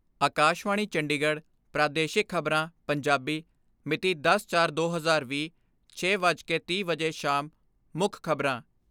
ਆਕਾਸ਼ਵਾਣੀ ਚੰਡੀਗੜ ਪ੍ਰਾਦੇਸ਼ਿਕ ਖਬਰਾਂ, ਪੰਜਾਬੀ ਮਿਤੀ ਦਸ ਚਾਰ ਦੋ ਹਜ਼ਾਰ ਵੀਹ, ਛੇ ਵੱਜ ਕੇ ਤੀਹ ਮਿੰਟ ਵਜੇ ਸ਼ਾਮ ਮੁੱਖ ਖਬਰਾਂ